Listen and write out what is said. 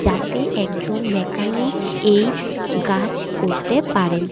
যাতে একজন মেকানিক এই গাছ করতে পারেন।